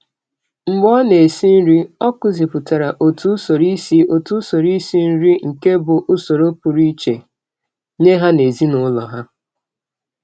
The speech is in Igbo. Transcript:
Mgbe ọ na-esi nri, ọ kụzipụtara otu usoro isi otu usoro isi nri nke bụ usoro pụrụ iche nye ha n'ezinaụlọ ha.